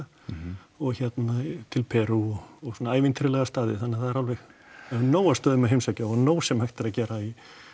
og hérna til Perú og á svona ævintýralega staði þannig það er alveg nóg af stöðum að heimsækja og nóg sem hægt er að gera í